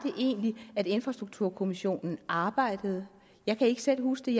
det egentlig at infrastrukturkommissionen arbejdede jeg kan ikke selv huske